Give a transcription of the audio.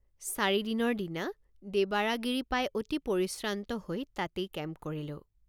চাৰিদিনৰ দিনা দেবাৰা গিৰি পাই অতি পৰিশ্ৰান্ত হৈ তাতেই কেম্প কৰিলোঁ।